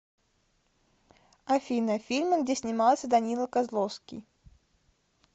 афина фильмы где снимался данила козловский